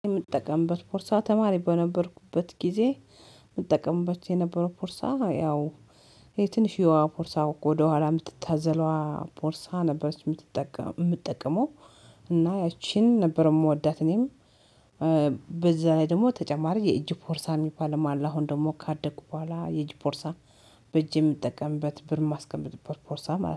የምጠቀምበት ፖርሳ ተማሪ በነበርኩበት ጊዜ የምጠቀምበት የነበረው ፖርሳ ያው የትንሽዬዋ ቦርሳ ወደኋላ የምትታዘለዋ ቦርሳ ነበረች። የምጠቀመው እና ያቺን ነበር የምወዳት። እኔም በዛ ላይ ደግሞ ተጨማሪ የእጅ ፖርሳ የሚባል አለ። አሁን ደግሞ ካደኩ በኋላ የእጅ ፖርሳ በእጅ የምጠቀምበት ብር የማስቀምጥበት ቦርሳ ማለት ነው